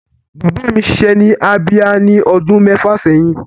Bàbá mi ṣiṣẹ́ ní Abia ní ọdún mẹ́fà sẹ́yìn.